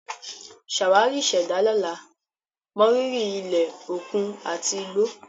Ṣàwárí ìṣẹ̀dá lọ́la, mọrírì ilẹ̀, òkun, àti igbó.